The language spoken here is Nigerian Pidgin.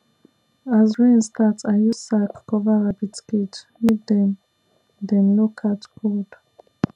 as rain start i use sack cover rabbit cage make dem dem no catch cold